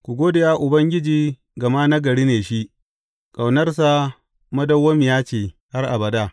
Ku gode wa Ubangiji, gama nagari ne shi; ƙaunarsa madawwamiya ce har abada.